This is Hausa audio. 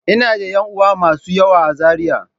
Ina da ƴan uwa masu yawa a Zariya.